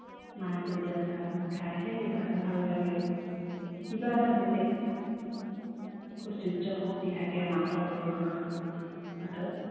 মায়ে কৰি দিয়া চাহকণ খাইহে কিবা এটা ভাল লাগে কিবা এটা বেলেগ ঐশ্বয্য শক্তি থাকে মাসকলৰ হাতত